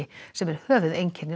sem er höfuðeinkenni